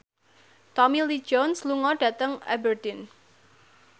Tommy Lee Jones lunga dhateng Aberdeen